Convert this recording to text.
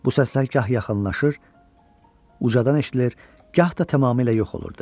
Bu səslər gah yaxınlaşır, ucadan eşidilir, gah da tamamilə yox olurdu.